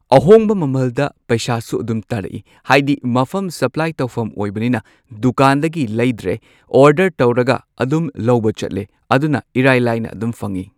ꯑꯍꯣꯡꯕ ꯃꯃꯜꯗ ꯄꯩꯁꯥꯁꯨ ꯑꯗꯨꯝ ꯇꯥꯔꯛꯏ, ꯍꯥꯏꯗꯤ ꯃꯐꯝ ꯁꯞꯄ꯭ꯂꯥꯏ ꯇꯧꯐꯝ ꯑꯣꯏꯕꯅꯤꯅ ꯗꯨꯀꯥꯟꯗꯒꯤ ꯂꯩꯗ꯭ꯔꯦ ꯑꯣꯔꯗꯔ ꯇꯧꯔꯒ ꯑꯗꯨꯝ ꯂꯧꯕ ꯆꯠꯂꯦ ꯑꯗꯨꯅ ꯏꯔꯥꯏꯂꯥꯏꯅ ꯑꯗꯨꯝ ꯐꯪꯢ꯫